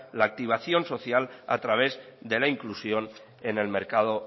la activación social a través de la inclusión en el mercado